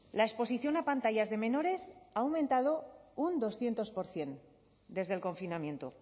la exposición a pantallas de menores ha aumentado un doscientos por ciento desde el confinamiento